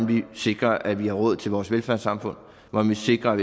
vi sikrer at vi har råd til vores velfærdssamfund og hvordan vi sikrer at